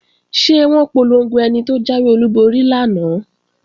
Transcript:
Ṣé wọ́n polongo ẹni tó jáwé olúborí lánàá?